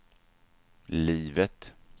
livet